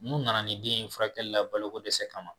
N'u nana ni den ye furakɛli la balo ko dɛsɛ kama.